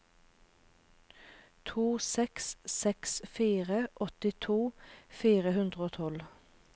to seks seks fire åttito fire hundre og tolv